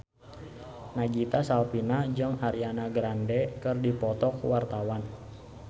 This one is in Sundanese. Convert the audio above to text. Nagita Slavina jeung Ariana Grande keur dipoto ku wartawan